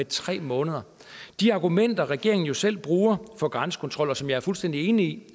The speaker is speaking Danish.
tre måneder de argumenter regeringen selv bruger for grænsekontrol og som jeg er fuldstændig enig